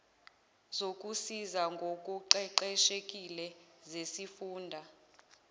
zokusiza ngokuqeqeshekile zesifunda